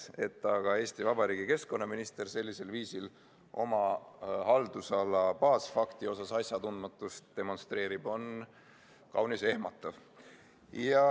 Et aga Eesti Vabariigi keskkonnaminister sellisel viisil oma haldusala baasfakti kohta asjatundmatust demonstreerib, on kaunis ehmatav.